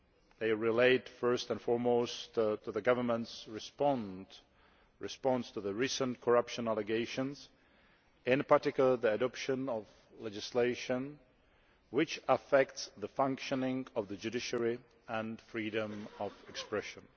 These relate first and foremost to the government's response to the recent corruption allegations, in particular the adoption of legislation which affects the functioning of the judiciary and freedom of expression.